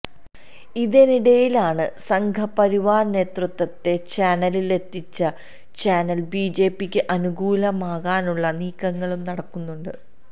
ഇതിനിടിയിലാണ് സംഘപരിവാര നേതൃത്വത്തെ ചാനലിലെത്തിച്ച് ചാനല് ബിജെപിയ്ക്ക് അനുകൂലമാക്കാനുള്ള നീക്കങ്ങളും നടക്കുന്നുണ്ട്